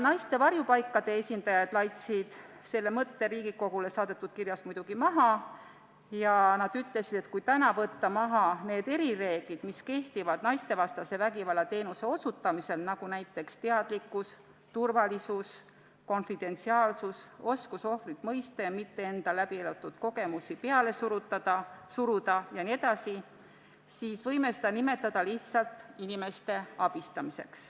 Naiste varjupaikade esindajad laitsid selle mõtte Riigikogule saadetud kirjas muidugi maha ja ütlesid, et kui võtta täna maha need erireeglid, mis naistevastase vägivalla teenuse osutamisel kehtivad – näiteks teadlikkus, turvalisus, konfidentsiaalsus, oskus ohvrit mõista ja enda läbielatud kogemusi mitte peale suruda –, siis võiksime seda teenust nimetada lihtsalt inimeste abistamiseks.